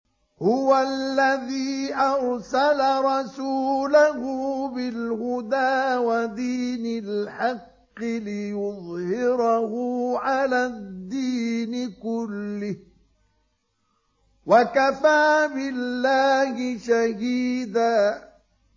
هُوَ الَّذِي أَرْسَلَ رَسُولَهُ بِالْهُدَىٰ وَدِينِ الْحَقِّ لِيُظْهِرَهُ عَلَى الدِّينِ كُلِّهِ ۚ وَكَفَىٰ بِاللَّهِ شَهِيدًا